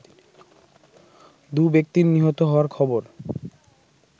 দু'ব্যক্তির নিহত হওয়ার খবর